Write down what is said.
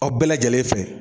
Aw bɛɛ lajɛlen fɛ